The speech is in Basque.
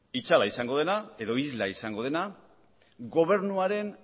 itzala izango dena edo isla izango dena gobernuaren